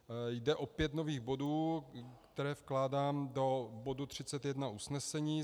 Jde o pět nových bodů, které vkládám do bodu 31 usnesení.